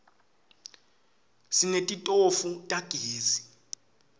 sinetitofu tagezi